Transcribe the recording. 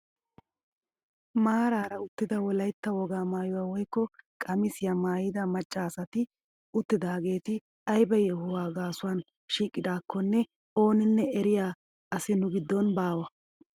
Maarara uttida wolaytta wogaa maayuwaa woykko qamisiyaa maayida macca asati uttidaageti aybaa yohuwaa gaasuwaan shiiqidakonne oninne eriyaa asi nu giddon baawa!